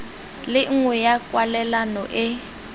le nngwe ya kwalelano e